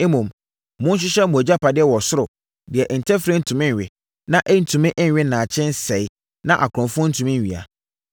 Mmom, monhyehyɛ mo agyapadeɛ wɔ ɔsoro, deɛ ntɛferɛ ntumi nwe, na ɛntumi nwe nnaakye nsɛeɛ, na akorɔmfoɔ ntumi nwia.